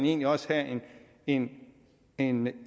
egentlig også skal have en en